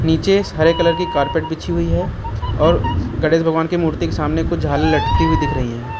नीचे श् हरे कलर की कारपेट बीछी हुई है और गणेश भगवान की मूर्ति के सामने कुछ झालर लटती हुई दिख रही हैं।